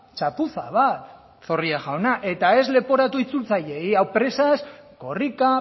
txapuza bat zorrilla jauna eta ez leporatu itzultzaileei hau presaz korrika